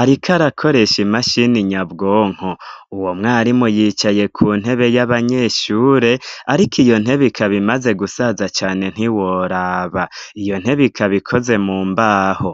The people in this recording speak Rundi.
ariko arakoresha imashini nyabwonko. Uwo mwarimu yicaye ku ntebe y'abanyeshure, ariko iyo ntebe ikaba imaze gusaza cane ntiworaba. Iyo ntebe ikaba ikoze mu mbaho.